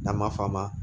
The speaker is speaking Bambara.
N'an b'a f'a ma